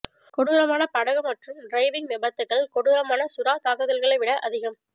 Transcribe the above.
கொடூரமான படகு மற்றும் டிரைவிங் விபத்துகள் கொடூரமான சுறா தாக்குதல்களை விட அதிகம்